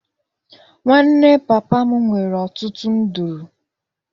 Nwanne papa m nwere ọtụtụ nduru.